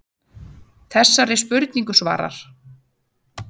Þessari spurningu svarar